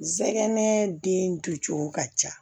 Zɛgɛnɛ den dun cogo ka ca